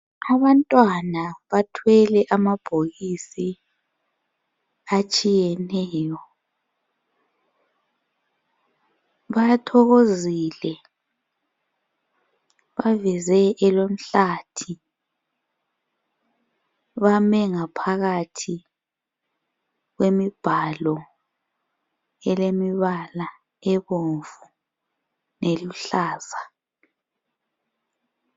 Abantwana bathwele amabhokisi atshiyeneyo, bathokozile baveze elomhlathi bame ngaphakathi kwemibhalo elemibala ebomvu leluhlaza